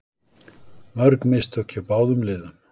Mörg mistök hjá báðum liðum